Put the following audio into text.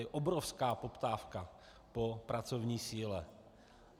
Je obrovská poptávka po pracovní síle.